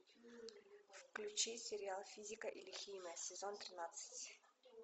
включи сериал физика или химия сезон тринадцать